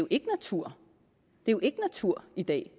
ikke natur det er ikke natur i dag